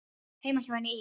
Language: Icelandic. Heima hjá henni í